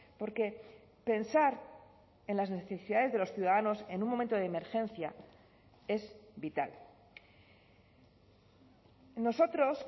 porque pensar en las necesidades de los ciudadanos en un momento de emergencia es vital nosotros